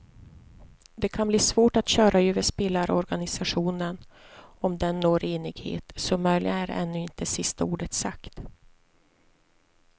Det kan bli svårt att köra över spelarorganisationen om den når enighet, så möjligen är ännu inte sista ordet sagt.